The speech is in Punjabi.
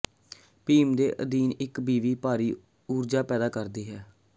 ਬੀਮ ਦੇ ਅਧੀਨ ਇਕ ਬੀਵੀ ਭਾਰੀ ਊਰਜਾ ਪੈਦਾ ਕਰਦੀ ਹੈ